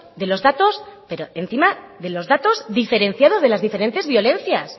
de los datos pero encima de los datos diferenciados de las diferentes violencias